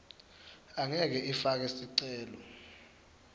angeke ifake sicelo